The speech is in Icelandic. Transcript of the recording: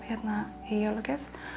í jólagjöf